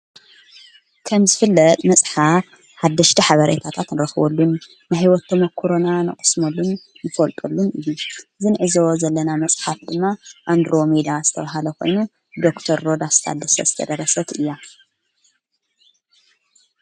ከምዝ ፍለጥ መጽሓፍ ሓደሽ ኃበርይታታት ንረኽወሉን ንሕይወቶም ተመኰሮና ንቕስመሉን ይፈልጦሉን እየ ዝንዕዝወ ዘለና መጽሓት ድማ ኣንድሮ ሜዳ ስተብሃለኾኑ ዶር ሮዳስታደሰ ስተደረሰት እያ።